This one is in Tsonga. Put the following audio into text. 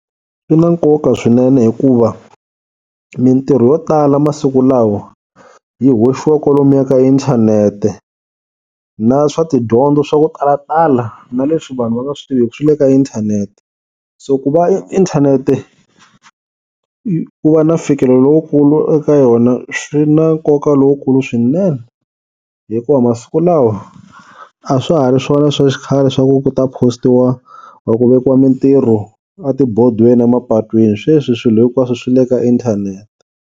Swi na nkoka swinene hikuva mintirho yo tala masiku lawa yi hoxiwa kwalomuya ka inthanete na swa tidyondzo swa ku talatala na leswi vanhu va nga swi tiviku swi le ka inthanete, so ku va inthanete ku va na mfikelo lowukulu eka yona swi na nkoka lowukulu swinene hikuva masiku lawa a swa ha ri swona swa xikhale swa ku ku ta post-iwa or ku vekiwa mintirho a tibodweni a mapatwini sweswi swilo hinkwaswo swi le ka inthanete.